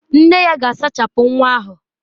Nne ya ga-asachapụ nwa ahụ.